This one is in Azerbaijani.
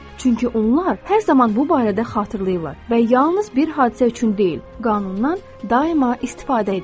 Çünki onlar hər zaman bu barədə xatırlayırlar və yalnız bir hadisə üçün deyil, qanundan daima istifadə edirlər.